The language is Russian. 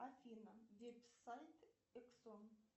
афина веб сайт эксон